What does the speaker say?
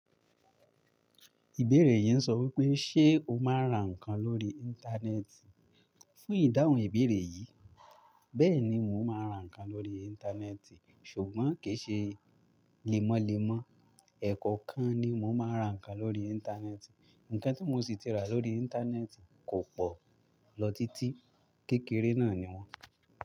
Ìbéèrè yìí ń sọ wípé, ṣe o máa ń ra ǹkan lórí Íńtánẹ́ẹ̀tì? Fún ìdáhùn ìbéèrè yìí, bẹ́ẹ̀ni mo máa ń ra ǹkan lórí Íńtánẹ́ẹ̀tì, ṣùgbọ́n kì í ṣe lemọ́ lemọ́, ẹ̀ kankan ni mò ń máa ra ǹkan lórí Íńtánẹ́ẹ̀tì. Ǹkan tí mo sì ti rà lórí Íńtánẹ́ẹ̀tì, kò pọ̀ lọ títí, kékeré náà ni wọ́n.